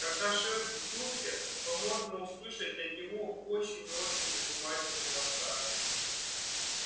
когда шеф в духе то можно услышать от него очень очень занимательный рассказ